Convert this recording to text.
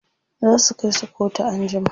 zasu Kai su kotu an jima